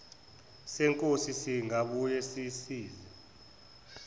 senkosi singabuye sisize